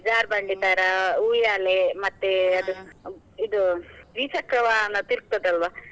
ಜಾರ್ಬಂಡಿ , ಉಯ್ಯಾಲೆ ಮತ್ತೆ ಇದು ದ್ವಿಚಕ್ರ ವಾಹನ ತೀರ್ಗತದೆ ಅಲ್ವಾ?